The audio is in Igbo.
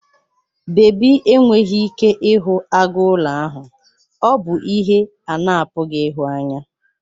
Babi enweghị ike ịhụ agụ n'ụlọ ahụ, ọ bụ ihe a na-apụghị ịhụ anya.